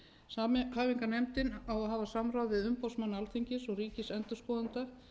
samhæfingarnefndin á að hafa samráð við umboðsmann alþingis og ríkisendurskoðanda